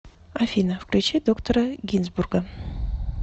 афина включи доктора гинзбурга